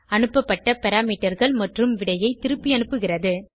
அனுப்பப்பட்ட parameterகள் மற்றும் விடையை திருப்பியனுப்புகிறது